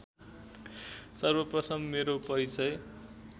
सर्वप्रथम मेरो परिचय